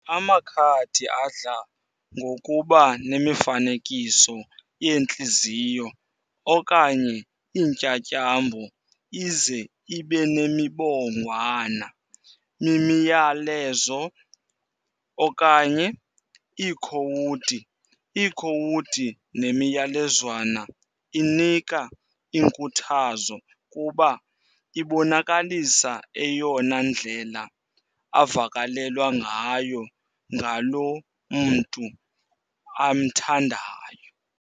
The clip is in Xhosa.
Amakhadi adla ngokuba nemifanekiso yeentliziyo okanye iintyatyambo ize ibenemibongwana, mimiyalezo, okanye iikhowudi. Iikhowudi nemiyalezwana inika inkuthazo kuba ibonakalisa eyona ndlela avakalelwa ngayo ngaloo mntu amthandayo.